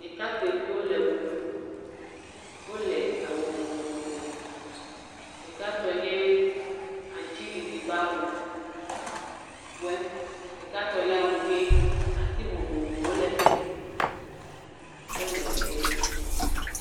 Ɖekakpuiviwo le ʋe ɖum. Wole awu vovovo me, ɖekatɔe nye aŋutiɖiɖi ƒe awu woe, ɖekatɔ nye awu ʋie. Ati vovovowo le fi mi. Wole ʋe ɖum.